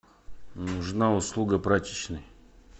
нужна услуга прачечной